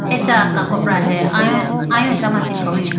acha kakopra he ayo ayo achama chi khawuyi boo.